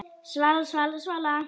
Svala, Svala, Svala!